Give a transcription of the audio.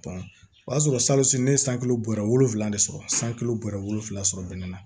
o y'a sɔrɔ ne ye san bɔra wolonwula de sɔrɔ san kulo bɔra wolonwula sɔrɔ bɛnɛ na